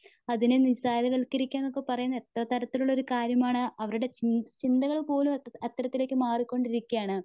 അതിനെ നിസാരവത്കരിക്കുകയാണ് എന്നൊക്കെ പറയുന്നത് എത്ര തരത്തിലുള്ള കാര്യമാണ്. അവരുടെ ചി ചിന്തകൾപോലും അത്തരത്തിലേക്ക് മാറികൊണ്ടിരിക്കുവയാണ്.